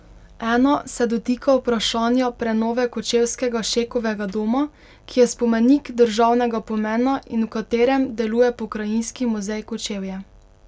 Ena se dotika vprašanja prenove kočevskega Šekovega doma, ki je spomenik državnega pomena in v katerem deluje Pokrajinski muzej Kočevje.